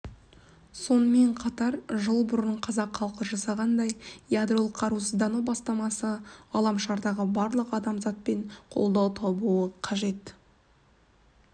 сонымен қатар жыл бұрын қазақ халқы жасағандай ядролық қарусыздану бастамасы ғаламшардағы барлық адамзатпен қолдау табуы қажет